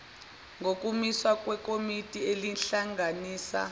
ngokumiswa kwekomiti elihlanganisa